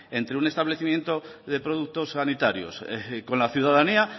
entre un establecimiento de productos sanitarios y con la ciudadanía